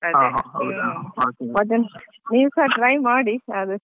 ಹಾ ಹೌದಾ.